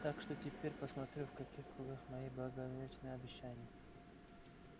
так что теперь посмотрю в каких кругах мой благоверный общается